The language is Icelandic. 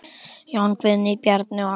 Jón Guðni, Bjarni og Agnar.